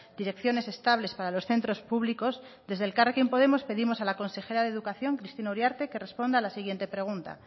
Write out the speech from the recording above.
direcciones estables para los centros públicos desde elkarrekin podemos pedimos a la consejera de educación cristina uriarte que responda a la siguiente pregunta